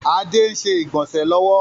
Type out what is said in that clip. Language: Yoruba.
Adé ń ṣe ìgbọ̀nsẹ̀ lọ́wọ́